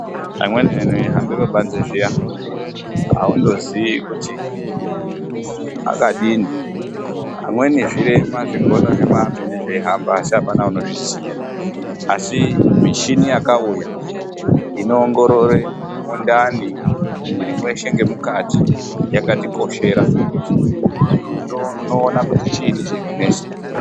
Amweni antu eihambe pabanze zviya aundozivi kuti akadini, amweni zvirema zvigono zvemene zvemene zveihamba asi apana unozviziya asi michini yakauya inoongorore mundani mwiri mweshe nemukati yakatikoshera kuti unoona kuti chiini chirikunesa.